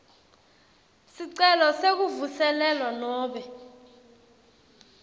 sicelo sekuvuselelwa nobe